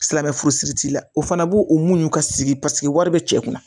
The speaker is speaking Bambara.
Silamɛmɛ furusiri t'i la o fana b'o o muɲun ka sigi paseke wari bɛ cɛ kun